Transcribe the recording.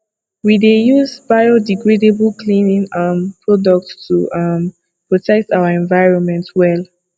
we dey use biodegradable cleaning um products to um protect our environment well